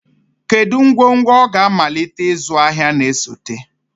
Kedu ngwongwo ọ ga-amalite ịzụ ahịa na-esote?